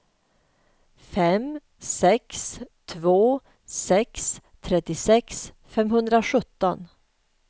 fem sex två sex trettiosex femhundrasjutton